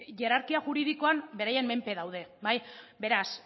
hierarkian juridikoan berain menpe daude beraz